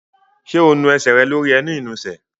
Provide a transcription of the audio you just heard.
Ṣé o nu ẹsẹ̀ rẹ lórí ẹní ìnusẹ̀?